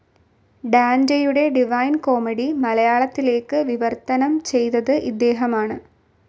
ഡാൻ്റെയുടെ ദിവിനെ കോമഡി മലയാളത്തിലേക്ക് വിവർത്തനം ചെയ്തത് ഇദ്ദേഹമാണ്.